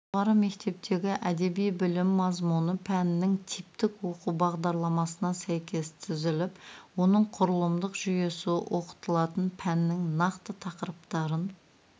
жоғары мектептегі әдеби білім мазмұны пәннің типтік оқу бағдарламасына сәйкес түзіліп оның құрылымдық жүйесі оқытылатын пәннің нақты тақырыптарын